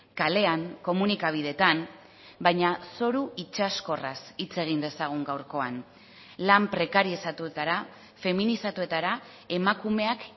kalean komunikabideetan baina zoru itsaskorraz hitz egin dezagun gaurkoan lan prekarizatutara feminizatuetara emakumeak